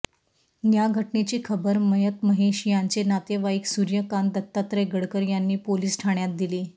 या घटनेची खबर मयत महेश याचे नातेवाईक सूर्यकांत दत्तात्रय गडकर यांनी पोलिस ठाण्यात दिली